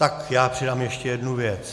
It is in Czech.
Tak já přidám ještě jednu věc.